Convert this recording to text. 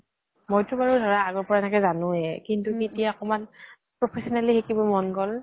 মই তো বাৰু ধৰা আগৰ পৰা এনেই জানোৱে । কিন্তু তেতিয়া অকনমান professionally শিকিব মন গʼল